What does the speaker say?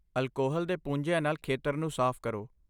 Alcohol ਦੇ ਪੂੰਝਿਆਂ ਨਾਲ ਖੇਤਰ ਨੂੰ ਸਾਫ਼ ਕਰੋ।